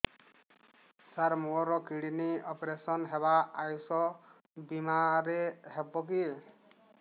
ସାର ମୋର kidney operation ହେବ ଆୟୁଷ ବିମାରେ ହେବ କି